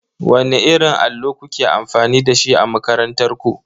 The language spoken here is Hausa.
Wanne irin allo kuke amfani da shi a makarantar ku?